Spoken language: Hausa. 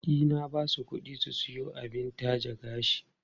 E, na ba su kuɗi su siyo abin taje gashi.